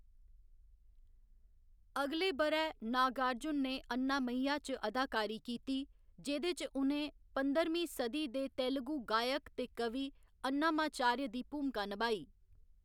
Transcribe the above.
अगले ब'रै, नागार्जुन ने अन्नामय्या च अदाकारी कीती, जेह्‌‌‌दे च उ'नें पंधरमीं सदी दे तेलुगु गायक ते कवि अन्नामाचार्य दी भूमका निभाई।